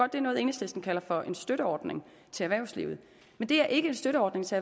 det er noget enhedslisten kalder for en støtteordning til erhvervslivet men det er ikke en støtteordning til